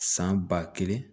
San ba kelen